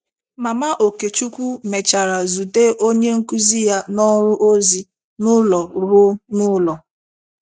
Mama Okechukwu mèchàrà zute onye nkụzi ya n’ọrụ ozi n’ụlọ ruo n’ụlọ.